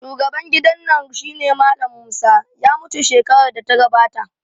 Shugaban gidan nan shine Mallam Musa, ya mutu shekarar da ta gabata